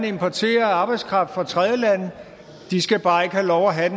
importere arbejdskraft fra tredjelande de skal bare ikke have lov at have